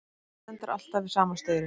Stendur alltaf við sama staurinn.